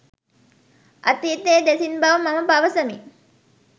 අතීතය දෙසින් බව මම පවසමි